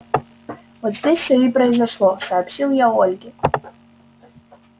вот здесь все и произошло сообщил я ольге